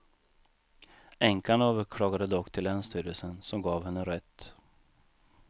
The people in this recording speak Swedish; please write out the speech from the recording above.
Änkan överklagade dock till länsstyrelsen, som gav henne rätt.